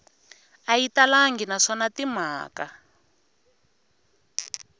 a yi talangi naswona timhaka